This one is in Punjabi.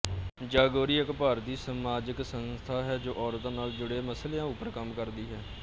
ਜਾਗੋਰੀ ਇੱਕ ਭਾਰਤੀ ਸਮਾਜਿਕ ਸੰਸਥਾ ਹੈ ਜੋ ਅੋਰਤਾਂ ਨਾਲ ਜੁੜੇ ਮਸਲਿਆਂ ਉੱਪਰ ਕੰਮ ਕਰਦੀ ਹੈ